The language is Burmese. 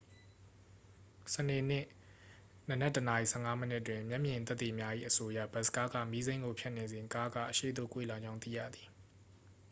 စနေနေ့ နံနက် 1 နာရီ 15 မိနစ်တွင် မျက်မြင်သက်သေများ၏ အဆိုအရ ဘတ်စ်ကားက မီးစိမ်းကို ဖြတ်နေစဉ် ကားက အရှေ့သို့ ကွေ့လာကြောင်း သိရသည်